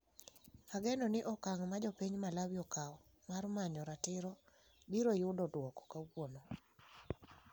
Ageno ni okang ' ma jopiny Malawi okawo mar manyo ratiro biro yudo duoko kawuono.